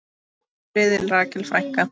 Hvíl í friði, Rakel frænka.